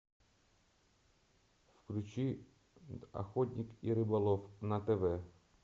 включи охотник и рыболов на тв